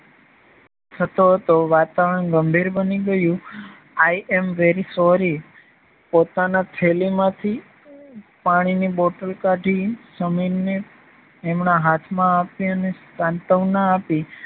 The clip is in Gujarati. થતો હતો. વાતાવરણ ગંભીર બની ગયું i am very sorry પોતાના થેલીમાંથી પાણીની બોટલ કાઢી સમીરને એમના હાથમાં આપી અને સાંત્વના આપી